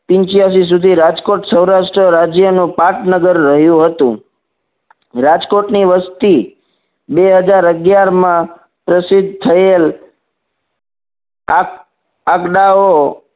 પીન્ચીયાશી સુધી રાજકોટ સૌરાષ્ટ્ર રાજ્યનો પાટનગર રહ્યું હતું રાજકોટની વસ્તી બે હજાર અગિયાર માં પ્રશીદ થયેલ આ દાવો